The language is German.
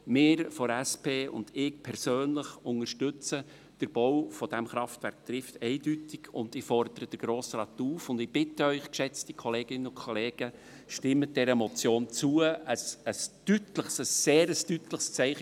Wir von der SP – und ich persönlich – unterstützen den Bau des Kraftwerks Trift eindeutig, und ich fordere den Grossen Rat auf und bitte Sie, geschätzte Kolleginnen und Kollegen: Stimmen Sie dieser Motion zu als ein deutliches, sehr deutliches Zeichen.